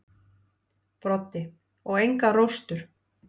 Broddi: Og engar róstur.